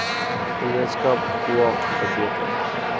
gemeenskap oag verbeter